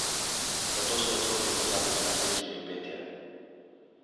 Zato so otroci pozabili na pesmi in petje.